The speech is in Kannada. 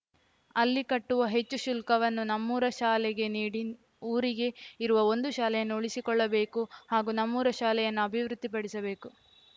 ಅಲ್ಲಿ ಕಟ್ಟುವ ಹೆಚ್ಚು ಶುಲ್ಕವನ್ನು ನಮ್ಮೂರ ಶಾಲೆಗೆ ನೀಡಿ ಊರಿಗೆ ಇರುವ ಒಂದು ಶಾಲೆಯನ್ನು ಉಳಿಸಿಕೊಳ್ಳಬೇಕು ಹಾಗೂ ನಮ್ಮೂರ ಶಾಲೆಯನ್ನು ಅಭಿವೃದ್ಧಿ ಪಡಿಸಬೇಕು